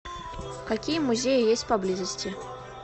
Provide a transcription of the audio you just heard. какие музеи есть поблизости